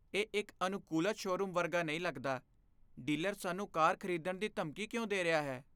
ਇਹ ਇੱਕ ਅਨੁਕੂਲਤ ਸ਼ੋਰੂਮ ਵਰਗਾ ਨਹੀਂ ਲੱਗਦਾ, ਡੀਲਰ ਸਾਨੂੰ ਕਾਰ ਖ਼ਰੀਦਣ ਦੀ ਧਮਕੀ ਕਿਉਂ ਦੇ ਰਿਹਾ ਹੈ?